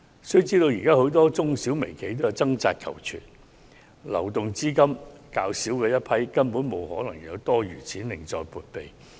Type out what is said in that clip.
須知現時很多中小企及微型企業均在掙扎求存，流動資金較少，根本沒可能有多餘資金另作撥備。